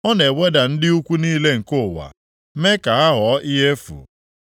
Ọ na-eweda ndị ukwu niile nke ụwa, mee ha ka ha ghọọ ihe efu.